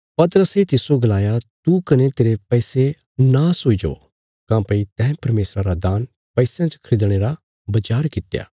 पतरसे तिसजो गलाया तू कने तेरे पैसे नाश हुईजो काँह्भई तैं परमेशरा रा दान पैसयां च खरीदणे रा बचार कित्या